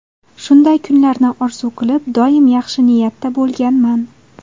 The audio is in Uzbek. Shunday kunlarni orzu qilib, doim yaxshi niyatda bo‘lganman.